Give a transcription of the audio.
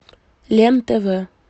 лен тв